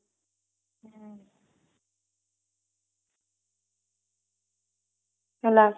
ହେଲା